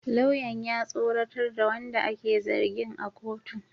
Lauyan ya tsoratar da wanda ake zargin a kotun